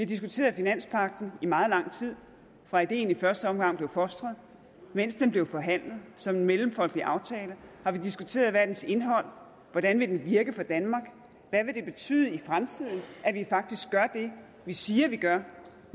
diskuteret finanspagten i meget lang tid fra ideen i første omgang blev fostret og mens den blev forhandlet som mellemfolkelig aftale har vi diskuteret hvad er dens indhold hvordan vil den virke for danmark hvad vil det betyde i fremtiden at vi faktisk gør det vi siger vi gør